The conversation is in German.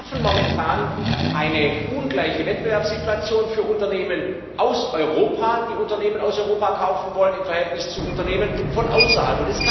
Wir schaffen momentan eine ungleiche Wettbewerbssituation für Unternehmen aus Europa, die Unternehmen aus Europa kaufen wollen, im Verhältnis zu Unternehmen von außerhalb.